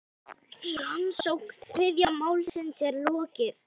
Rannsókn þriðja málsins er lokið.